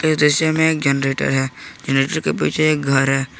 दृश्य में एक जनरेटर है जनरेटर के पीछे एक घर है।